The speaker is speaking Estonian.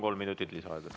Kolm minutit lisaaega.